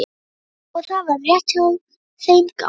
Og það var rétt hjá þeim gamla.